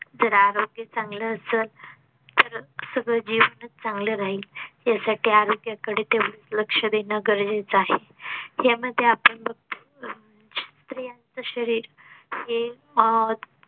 जर आरोग्य चांगलं असल तर अह सगळं जीवनच चांगलं राहील यासाठी आरोग्याकडे तेवढंच लक्ष देणं गरजेचं आहे. यामध्ये आपण बघतो अह स्त्रीयाचं शरीर हे अह